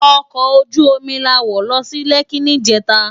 Òkò ójú ómi lá wó lò si Lèki nijètá